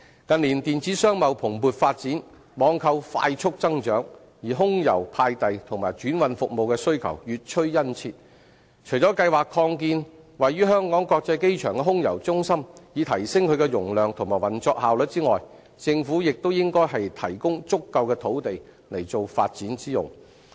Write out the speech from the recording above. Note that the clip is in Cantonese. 近年電子商貿蓬勃發展，網購快速增長，而空郵派遞和轉運服務的需求越趨殷切，除計劃擴建位於香港國際機場的空郵中心，以提升其容量及運作效率外，政府亦應提供足夠的土地以作發展之用。